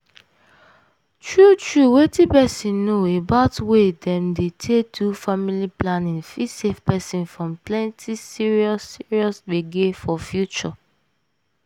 true true wetin peson know about way dem dey take do family planning fit save peson from plenty serious serious gbege for future.